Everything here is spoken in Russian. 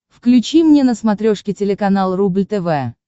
включи мне на смотрешке телеканал рубль тв